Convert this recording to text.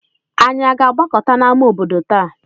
Ànyị na-agbakọta n'ámá obodo taa?